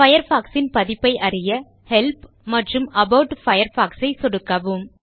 Firefox சின் பதிப்பை அறிய ஹெல்ப் மற்றும் அபாட் பயர்ஃபாக்ஸ் ஐ சொடுக்கவும்